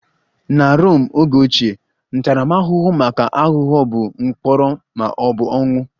Na Rom oge ochie, ntaramahụhụ maka aghụghọ bụ mkpọrọ ma ọ bụ ọnwụ